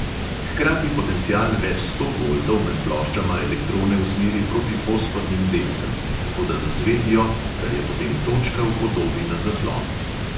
Hkrati potencial več sto voltov med ploščama elektrone usmeri proti fosfornim delcem, tako da zasvetijo, kar je potem točka v podobi na zaslonu.